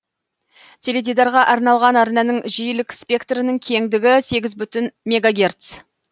теледидарға арналған арнаның жиілік спектрінің кендігі сегіз бүтін мегогерц